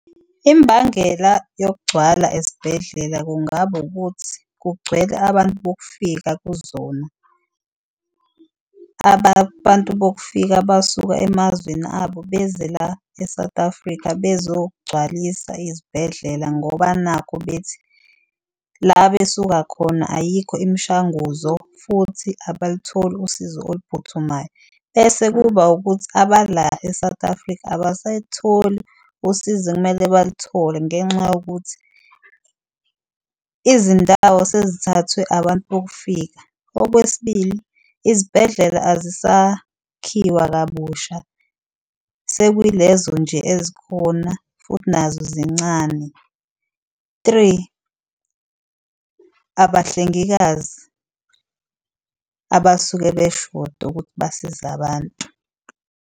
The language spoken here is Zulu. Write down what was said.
Imbangela yokugcwala ezibhedlela kungaba ukuthi kugcwele abantu bokufika kuzona. Abantu bokufika abasuke emazweni abo beze la e-South Africa bezogcwalisa izibhedlela ngoba nakhu bethi la besuka khona ayikho imishanguzo futhi abalutholi usizo oluphuthumayo. Bese kuba wukuthi abala e-South Africa abasayitholi usizo ekumele baluthole ngenxa yokuthi izindawo sezithathwe abantu bokufika. Okwesibili, izibhedlela azisakhiwa kabusha sekuyi lezo nje ezikhona futhi nazo zincane, three abahlengikazi abasuke beshoda ukuthi basize abantu.